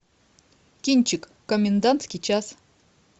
кинчик комендантский час